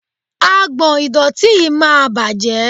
Agbọ̀n ìdọ̀tí yìí máa bàjẹ́.